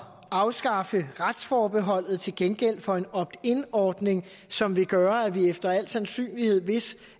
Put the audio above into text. at afskaffe retsforbeholdet til gengæld for en opt in ordning som vil gøre at vi efter al sandsynlighed hvis